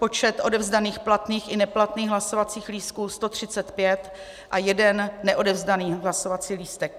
Počet odevzdaných platných i neplatných hlasovacích lístků 135 a jeden neodevzdaný hlasovací lístek.